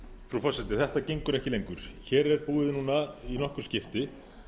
frú forseti þetta gengur ekki lengur hér er búið núna í nokkur skipti